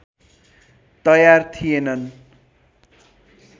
तयार थिएनन्